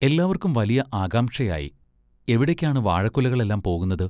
എല്ലാവർക്കും വലിയ ആകാംക്ഷയായി-എവിടേക്കാണ് വാഴക്കുലകളെല്ലാം പോകുന്നത്?